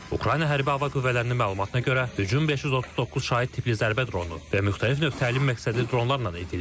Ukrayna hərbi hava qüvvələrinin məlumatına görə, hücum 539 şahid tipli zərbə dronu və müxtəlif növ təlim məqsədli dronlarla edilib.